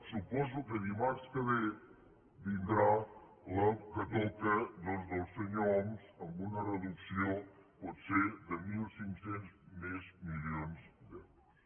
suposo que dimarts que ve vindrà la que toca doncs del senyor homs amb una reducció potser de mil cinc cents més milions d’euros